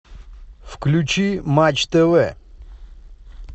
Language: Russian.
включи матч тв